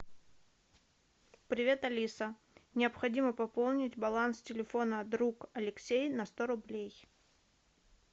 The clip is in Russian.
привет алиса необходимо пополнить баланс телефона друг алексей на сто рублей